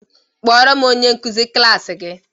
Kpọọrọ m onye nkuzi klaasị gi!